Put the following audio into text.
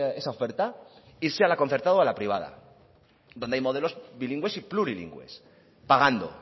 esa oferta irse a la concertada o a la privada donde hay modelos bilingües y plurilingües pagando